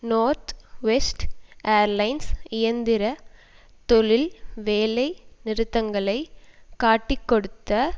North West Airlines இயந்திர தொழில் வேலை நிறுத்தங்களை காட்டிக்கொடுத்த